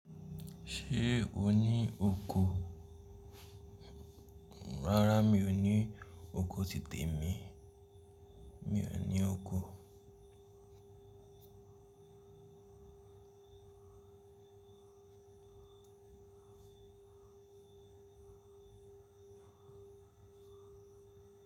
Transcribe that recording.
Ṣé o ní oko? Rárá mi ò ní oko ti tè mi. Mi ò ní oko.